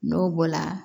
N'o bɔla